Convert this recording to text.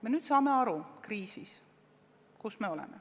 Me nüüd saame aru, et oleme kriisis.